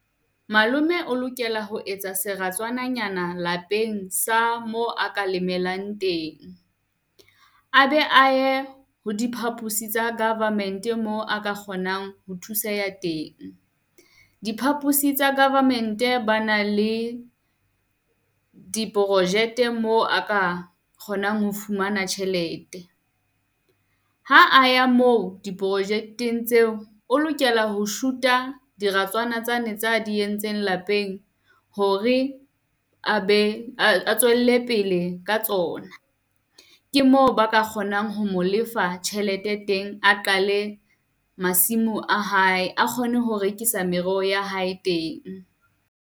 Malome o lokela ho etsa seratswananyana lapeng sa mo a ka lemelang teng. A be a ye ho diphapusing tsa government-e moo a ka kgonang ho thuseha ya teng. Diphaphosi tsa government ba na le diprojete moo a ka kgonang ho fumana tjhelete. Ha a ya moo di project-eng tseo, o lokela ho shoot-a diratswana tsane tsa di entseng lapeng hore a be a tswelle pele ka tsona. Ke moo ba ka kgonang ho mo lefa tjhelete teng, a qale masimo a hae a kgone ho rekisa mereho ya hae teng.